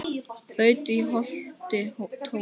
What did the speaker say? þaut í holti tóa